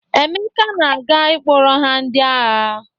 Emeka na-aga ịkpọrọ ha ndị agha.